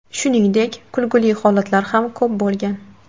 Shuningdek, kulgili holatlar ham ko‘p bo‘lgan.